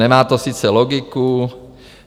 Nemá to sice logiku.